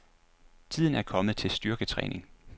Tiden er kommet til styrketræning.